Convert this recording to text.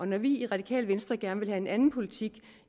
når vi i radikale venstre gerne vil have en anden politik